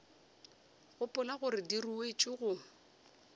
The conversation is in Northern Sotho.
gopola gore di ruetšwe go